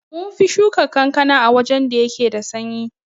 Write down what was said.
Munfi Shuka kankana a wajan da yake da sanyi